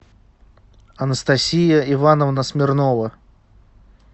анастасия ивановна смирнова